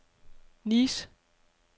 Nice